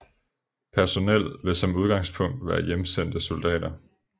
Personel vil som udgangspunkt være hjemsendte soldater